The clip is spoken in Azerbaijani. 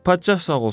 Padşah sağ olsun.